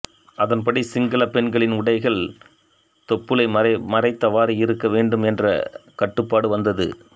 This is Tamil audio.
அதன்படி சிங்கள பெண்களின் உடைகள் தொப்புளை மறைத்தவாறு இருக்க வேண்டும் என்ற கட்டுப்பாடு வந்தது